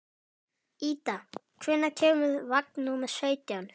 Ída, hvenær kemur vagn númer sautján?